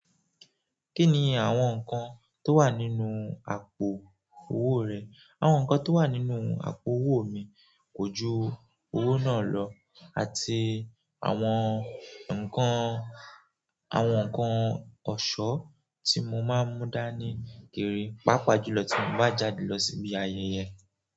Kí ni àwọn nǹkan tó wà nínú àpò owó rẹ? Àwọn nǹkan tó wà nínú àpò owó mi kójú owó náà lọ àti àwọn nǹkan, àwọn nǹkan ọ̀ṣọ́ tí mo máa ń mú dá ní kiri, pàápàá jùlọ tí mo bá jáde lọ síbi ayẹyẹ.